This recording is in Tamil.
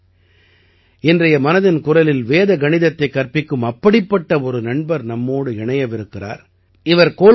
நண்பர்களே இன்றைய மனதின் குரலில் வேத கணிதத்தைக் கற்பிக்கும் அப்படிப்பட்ட ஒரு நண்பர் நம்மோடு இணையவிருக்கிறார்